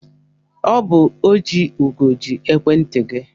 Ọ bụ Ojiugo ji ekwentị gị.